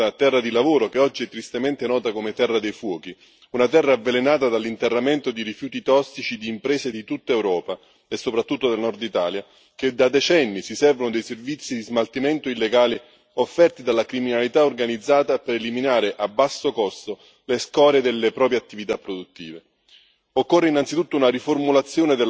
Provengo da una terra meravigliosa, per secoli chiamata terra di lavoro, che oggi è tristemente nota come terra dei fuochi, una terra avvelenata dall'interramento di rifiuti tossici di imprese di tutta Europa, e soprattutto del Nord Italia, che da decenni si servono dei servizi di smaltimento illegale offerti dalla criminalità organizzata per eliminare, a basso costo, le scorie delle proprie attività produttive.